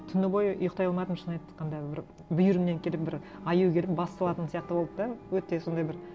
түні бойы ұйықтай алмадым шын айтқанда бір бүйірімнен келіп бір аю келіп бас салатын сияқты болды да өте сондай бір